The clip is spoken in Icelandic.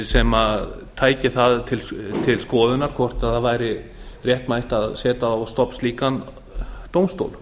sem tæki það til skoðunar hvort það væri réttmætt að setja á stofn slíkan dómstól